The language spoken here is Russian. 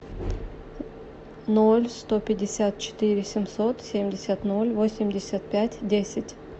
ноль сто пятьдесят четыре семьсот семьдесят ноль восемьдесят пять десять